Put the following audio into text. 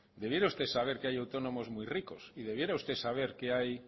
debiera usted saber que hay autónomos muy ricos y debiera usted saber que hay